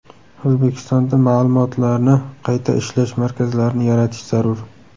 O‘zbekistonda ma’lumotlarni qayta ishlash markazlarini yaratish zarur.